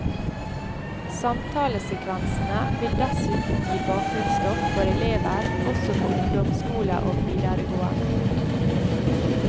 Samtalesekvensene vil dessuten gi bakgrunnsstoff for elever også på ungdomsskole og videregående.